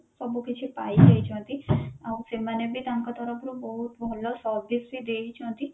ସବୁ କିଛି ପାଇଁ ଯାଇଛନ୍ତି ଆଉ ସେମାନେ ବି ତାଙ୍କ ତରଫରୁ ବହୁତ ଭଲ service ବି ଦେଇଛନ୍ତି